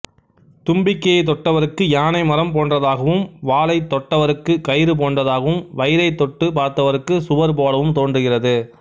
தும்பிக்கையைத் தொட்டவருக்கு யானை மரம் போன்றதாகவும் வாலைத் தொட்டவருக்குக் கயிறு போன்றதாகவும் வயிறைத் தொட்டு பார்த்தவருக்கு சுவர் போலவும் தோன்றுகிறது